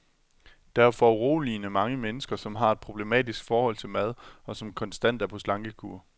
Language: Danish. Der er foruroligende mange mennesker, som har et problematisk forhold til mad, og som konstant er på slankekur.